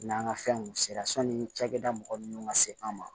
N'an ka fɛnw sera sanni cakɛda mɔgɔ minnu ka se an ma